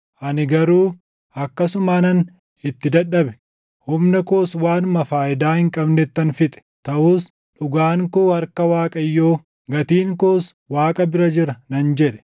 Ani garuu, “Akkasumaanan itti dadhabe; humna koos waanuma faayidaa hin qabnettan fixe. Taʼus dhugaan koo harka Waaqayyoo, gatiin koos Waaqa bira jira” nan jedhe.